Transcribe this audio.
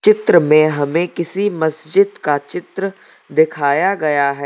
चित्र में हमें किसी मस्जिद का चित्र दिखाया गया है।